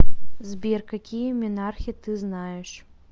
сбер какие менархе ты знаешь